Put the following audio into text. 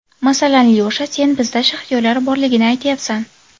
Masalan, Lyosha, sen bizda shaxtyorlar borligini aytyapsan.